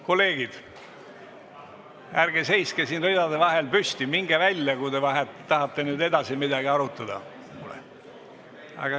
Kolleegid, ärge seiske siin ridade vahel püsti, minge välja, kui tahate edasi midagi arutada!